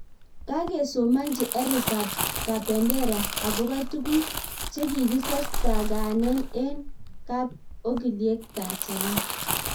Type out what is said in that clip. Kagesomanchi Eric kabendera agoba tuguk chekikistakane eng kap ongilyek tanzania